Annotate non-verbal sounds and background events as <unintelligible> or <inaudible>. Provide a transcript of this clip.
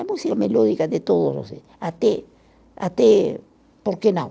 A música melódica de todos <unintelligible> Até, até. Por que não?